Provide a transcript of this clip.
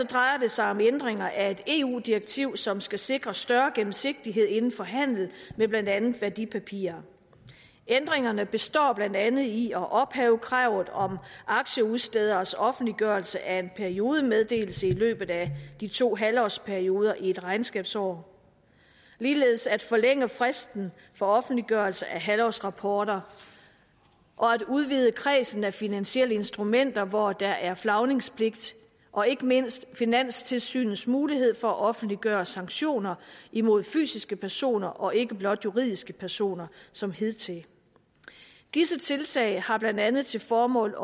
drejer det sig om ændringer af et eu direktiv som skal sikre større gennemsigtighed inden for handel med blandt andet værdipapirer ændringerne består blandt andet i at ophæve kravet om aktieudstederes offentliggørelse af en periodemeddelelse i løbet af de to halvårsperioder i et regnskabsår ligeledes at forlænge fristen for offentliggørelse af halvårsrapporter og at udvide kredsen af finansielle instrumenter hvor der er flagningspligt og ikke mindst finanstilsynets mulighed for at offentliggøre sanktioner imod fysiske personer og ikke blot juridiske personer som hidtil disse tiltag har blandt andet til formål